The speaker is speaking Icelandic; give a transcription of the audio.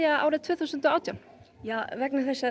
árið tvö þúsund og átján vegna þess að